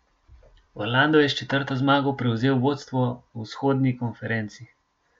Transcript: Orlando je s četrto zmago prevzel vodstvo v vzhodni konferenci.